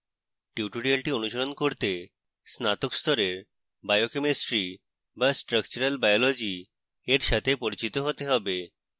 tutorial অনুসরণ করতে স্নাতক স্তরের biochemistry to structural biology এর সাথে পরিচিত হতে have